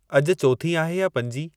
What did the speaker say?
अॼु चोथीं आहे या पंजीं